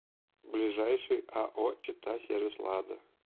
ближайший ао читасервислада